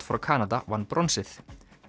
frá Kanada vann bronsið